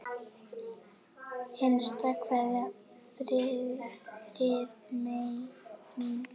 HINSTA KVEÐJA Friðmey mín.